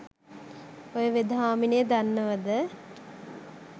ඔය වෙද හාමිනෙ දන්නවද?